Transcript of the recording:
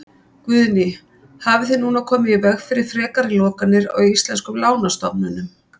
Guðný: Hafið þið núna komið í veg fyrir frekari lokanir á íslenskum lánastofnunum?